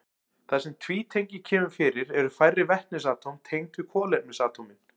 Þar sem tvítengi kemur fyrir eru færri vetnisatóm tengd við kolefnisatómin.